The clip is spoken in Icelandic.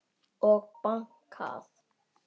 Og bankað.